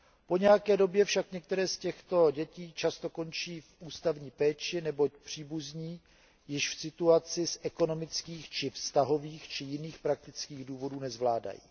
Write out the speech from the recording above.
Po nějaké době však některé z těchto dětí často končí v ústavní péči, neboť příbuzní již situaci z ekonomických či vztahových či jiných praktických důvodů nezvládají.